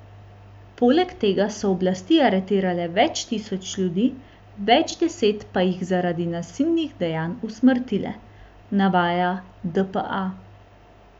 Poleg tega so oblasti aretirale več tisoč ljudi, več deset pa jih zaradi nasilnih dejanj usmrtile, navaja dpa.